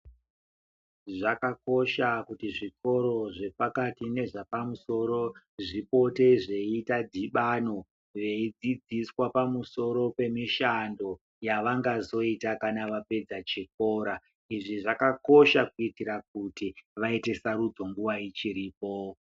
Zvakakosha kuti zvikoro zvepakati nezvapamusoro zvipote zvichiita dhibano, veidzidziswa pamusoro pemishando yavangazoita kana vapedza chikora. Izvi zvakakosha kuitira kuti vaite sarudzo nguva ichiripo.